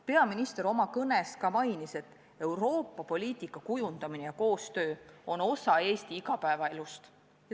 Peaminister oma kõnes ka mainis, et Euroopa poliitika kujundamine ja koostöö on osa Eesti igapäevaelust.